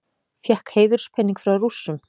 Fékk heiðurspening frá Rússum